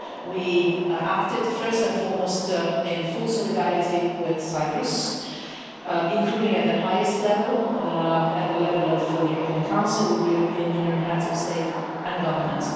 We acted first and foremost in full solidarity with Cyprus, including at the highest level, at the level of the European Council with the European Union heads of state and government.